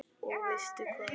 Og veistu hvað?